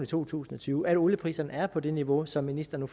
to tusind og tyve at olieprisen er på det niveau som ministeren